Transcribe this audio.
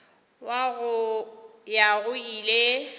wa go ya go ile